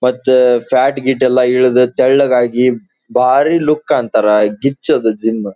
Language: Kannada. ಮತ್ತು ಫ್ಯಾಟ್ ಗೀಟ್ ಎಲ್ಲ ಇಳಿದು ತೆಳ್ಳೆ ಆಗಿ ಬಾರಿ ಲುಕ್ ಅಂತರ ಗಿಚ್ ಅದು ಜಿಮ್ .